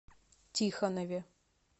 тихонове